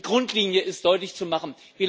Die Grundlinie ist deutlich zu machen.